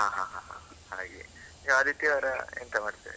ಹಾ ಹಾ ಹಾ ಹಾ. ಹಾಗೆ, ನೀವು ಆದಿತ್ಯವಾರ ಎಂತ ಮಾಡ್ತೀರಿ?